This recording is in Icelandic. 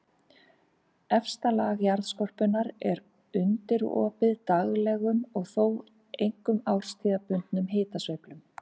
Efsta lag jarðskorpunnar er undirorpið daglegum og þó einkum árstíðabundnum hitasveiflum.